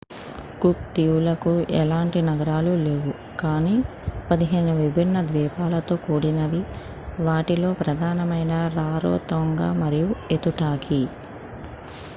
cook దీవులకు ఎలాంటి నగరాలు లేవు కానీ 15 విభిన్న ద్వీపాలతో కూడినవి వాటిలో ప్రధానమైనవి రారోతోంగ మరియు ఎతుటాకి